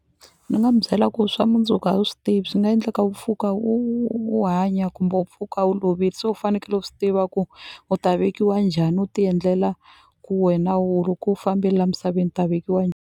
Ni nga mu byela ku swa mundzuku a wu swi tivi swi nga endleka u pfuka u hanya kumbe u pfuka u lovile se u fanekele u swi tiva ku u ta vekiwa njhani u ti endlela ku wena ku fambeni la misaveni u ta vekiwa .